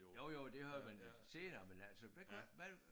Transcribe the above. Jo jo det har man senere men altså hvad hvad